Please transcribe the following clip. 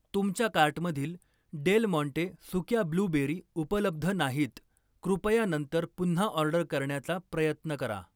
तुमच्या कार्टमधील Del Monte सुक्या ब्लूबेरी उपलब्ध नाहीत, कृपया नंतर पुन्हा ऑर्डर करण्याचा प्रयत्न करा.